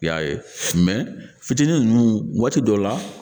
I y'a ye fitinin nunnu waati dɔ la